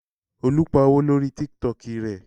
Olú pa owó lórí Tiktok rẹ.